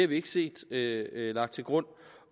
vi ikke set lagt til grund